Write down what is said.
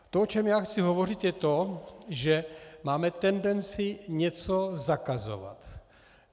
To, o čem já chci hovořit, je to, že máme tendenci něco zakazovat.